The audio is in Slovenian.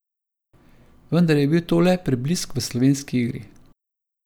Vendar je bil to le preblisk v slovenski igri.